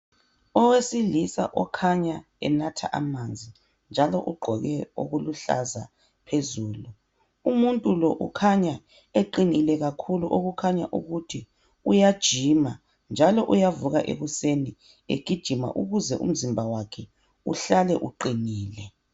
Owesilisa okhanya enatha amanzi njalo ugqoke okuluhlaza phezulu, umuntu lo ukhanya eqine kakhulu okukhanya ukuthi uyajima njalo uyavuka ekuseni egijima ukuze umzimba wakhe uhlale uqinile.